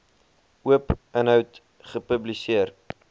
oop inhoud gepubliseer